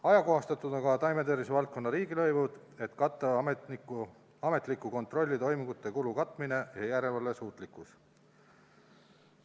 Ajakohastatud on ka taimetervise valdkonna riigilõivud, et katta ametliku kontrolli toimingute kulud ja tagada järelevalve suutlikkus.